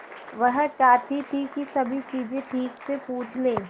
वह चाहती थी कि सभी चीजें ठीक से पूछ ले